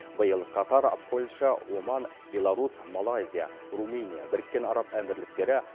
биыл катар польша оман беларусь малайзия румыния біріккен араб әмірліктері